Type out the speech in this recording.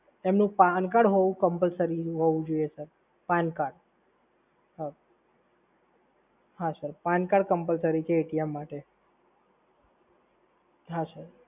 એમનુ PAN card હોય એ જરૂરથી હોવું જોઈએ સર. PAN card